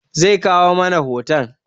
Ze kawo mana hoton